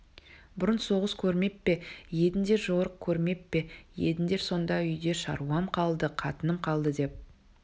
бұрын соғыс көрмеп пе едіңдер жорық көрмеп пе едіңдер сонда үйде шаруам қалды қатыным қалды деп